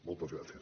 moltes gràcies